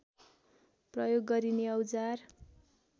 प्रयोग गरिने औजार